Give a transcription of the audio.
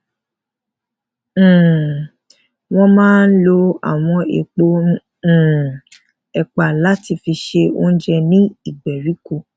um wón máa ń ń lo àwọn èèpo um èpà láti fi se oúnjẹ ní ìgbèríko